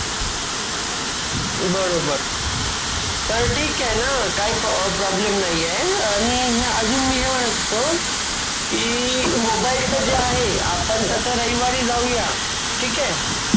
प्राणी अ जल.अ प्रवाह अ